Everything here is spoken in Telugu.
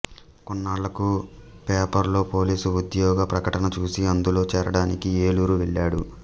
కొన్నాళ్ళకు పేపరులో పోలీసు ఉద్యోగ ప్రకటన చూసి అందులో చేరడానికి ఏలూరు వెళ్ళాడు